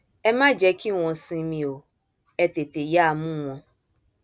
ẹ má jẹ kí wọn sinmi o ẹ tètè yáa mú wọn